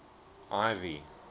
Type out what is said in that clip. ivy